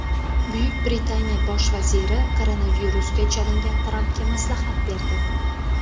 Buyuk Britaniya bosh vaziri koronavirusga chalingan Trampga maslahat berdi.